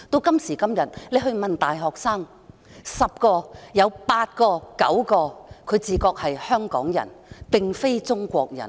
今時今日，大學生十有八九自覺是香港人，並非中國人。